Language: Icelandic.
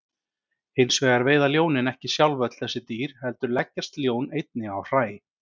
Hins vegar veiða ljónin ekki sjálf öll þessi dýr heldur leggjast ljón einnig á hræ.